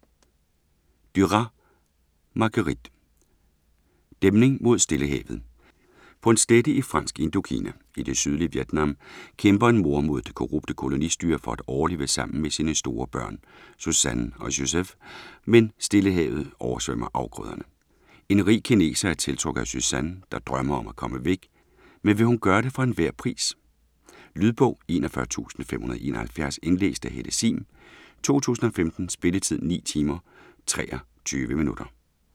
Duras, Marguerite: Dæmning mod Stillehavet På en slette i Fransk Indokina, i det sydlige Vietnam, kæmper en mor mod det korrupte kolonistyre for at overleve sammen med sine store børn, Suzanne og Joseph, men Stillehavet oversvømmer afgrøderne. En rig kineser er tiltrukket af Suzanne, der drømmer om at komme væk, men vil hun gøre det for enhver pris? Lydbog 41571 Indlæst af Helle Sihm, 2015. Spilletid: 9 timer, 23 minutter.